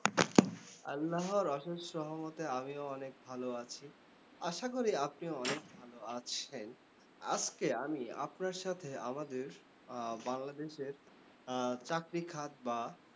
আল্লাহর অশেষ রহমতে আমিও অনেক ভালো আছি। আশা করি আপনিও অনেক ভালো আছেন। আজকে আমি আপনার সাথে আমাদের আহ বাংলাদেশের আহ চাকরি খাত বা